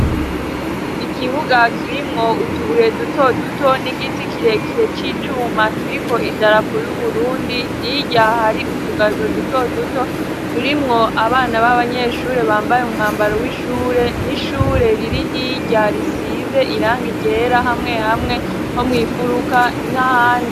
Ikibuga kirimwo utubuye duto duto n'igiti kirekire c'icuma kiriko idarapo y'Uburundi hirya hari utugazo duto duto turimwo abana b'abanyeshure bambaye umwambaro w'ishure n'ishure riri hirya risize irangi ryera hamwe hamwe ho mwinfuruka n'ahandi.